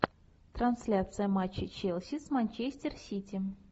трансляция матча челси с манчестер сити